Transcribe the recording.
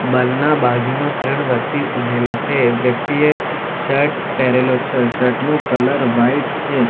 બલના બાજુમાં ત્રણ વ્યક્તિ ઉભેલા છે વ્યક્તિએ શર્ટ પહેરેલો છે શર્ટ નું કલર વાઈટ છે.